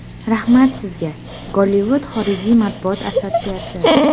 Rahmat sizga, Gollivud xorijiy matbuot assotsiatsiyasi.